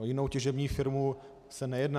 O jinou těžební firmu se nejedná.